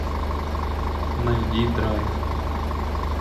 найди драйв